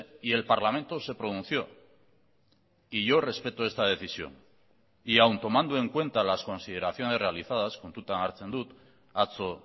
y el parlamento se pronunció y yo respeto esta decisión y aún tomando en cuenta las consideraciones realizadas kontutan hartzen dut atzo